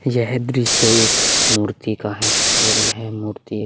यह दृश्य एक मूर्ति का है और यह मूर्ति एक --